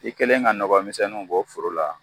I kɛlen ka nɔgɔmisɛnnu bɔ foro la